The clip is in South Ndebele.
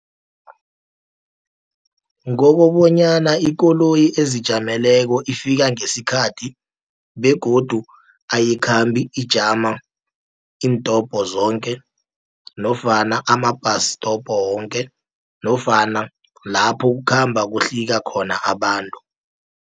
Ngokobonyana ikoloyi ezijameleko ifika ngesikhathi begodu ayikhambi ijama iintobho zoke, nofana ama bus stop woke nofana lapho kukhamba kuhlika khona abantu.